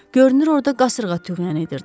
Görünür orda qasırğa tüğyan edirdi.